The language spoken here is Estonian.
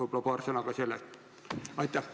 Ehk mõni sõna ka sellest.